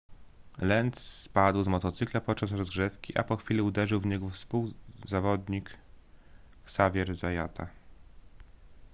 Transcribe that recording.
lenz spadł z motocykla podczas rozgrzewki a po chwili uderzył w niego współzawodnik xavier zayata